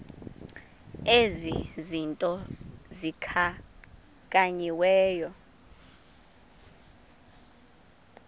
ezi zinto zikhankanyiweyo